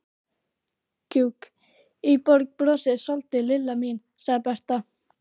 Gjugg í borg, brosa soldið, Lilla mín, sagði Berta.